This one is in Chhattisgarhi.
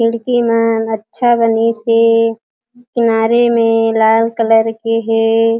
खिड़की में अच्छा बनीसे किनारे में लाल कलर के हे।